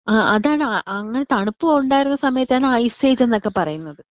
ആ അതാണ് അങ്ങനെ തണുപ്പുണ്ടായിരുന്ന സമയത്താണ് ഐസ് എയ്ജ്ന്നൊക്കെ പറയുന്നത്.